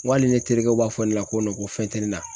N ko hali ni terikɛw b'a fɔ ne ma ko ko fɛn te ne na.